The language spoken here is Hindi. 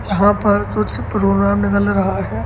यहाँ पर कुछ प्रोग्राम निकल रहा है।